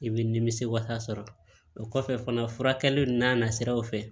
I bɛ nimisi wasa sɔrɔ o kɔfɛ fana furakɛliw n'a nasiraw fɛ